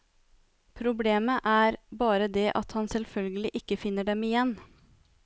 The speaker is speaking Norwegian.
Problemet er bare det at han selvfølgelig ikke finner dem igjen.